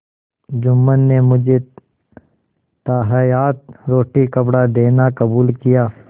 जुम्मन ने मुझे ताहयात रोटीकपड़ा देना कबूल किया